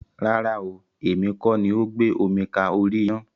Rárá ooo, èmi kọ́ ni ó gbé omi ka orí ina.